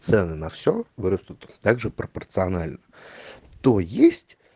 цены на все вырастут также пропорционально то есть